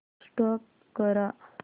stop करा